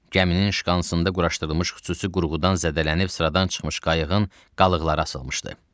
Gəminin şkansında quraşdırılmış xüsusi qurğudan zədələnib sıradan çıxmış qayıqların qalıqları asılmışdı.